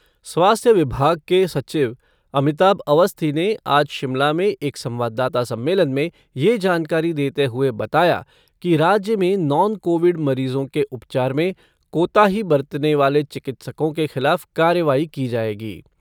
स्वास्थ्य विभाग के सचिव अमिताभ अवस्थी ने आज शिमला में एक संवाददाता सम्मेलन में ये जानकारी देते हुए बताया कि राज्य में नॉन कोविड मरीजों के उपचार में कोताही बरतने वाले चिकित्सकों के खिलाफ कार्रवाई की जाएगी।